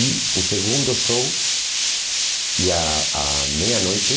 E o segundo show ia à meia-noite.